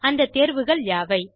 அந்த தேர்வுகள் யாவை